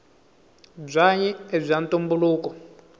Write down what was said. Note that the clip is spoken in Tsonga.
bwanyi ibwaantumbuluko